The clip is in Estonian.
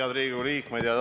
Head Riigikogu liikmed!